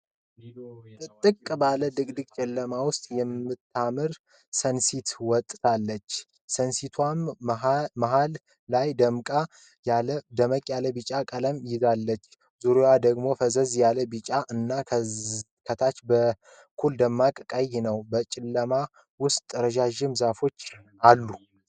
ጥጥቅ ባለ ድቅድቅ ጨለማ ውስጥ የምታምር ሰንሲት ወጥታለች ። ሰንሲቷም መሀል ላይ ደመቅ ያለ ቢጫ ቀለም ይዛለች። ዙሬዋን ደግም ፈዘዝ ያለ ቢጫ እና ከታች በኩል ደማቅ ቀይ ነው ።በጨለማው ውስጥም ረጃጅም ዛፎች ይታያሉ።